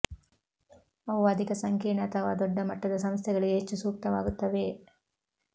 ಅವು ಅಧಿಕ ಸಂಕೀರ್ಣ ಅಥವಾ ದೊಡ್ಡ ಮಟ್ಟದ ಸಂಸ್ಥೆಗಳಿಗೆ ಹೆಚ್ಚು ಸೂಕ್ತವಾಗುತ್ತವೆ